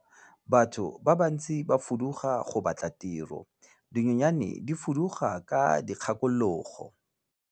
Batho ba bantsi ba fuduga go batla tiro, dinonyane di fuduga ka dikgakologo.